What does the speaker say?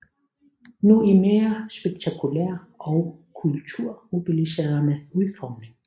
Nu i mere spektakulær og kulturmobiliserende udformning